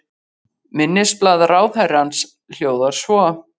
Minnisblað ráðherrans hljóðar svo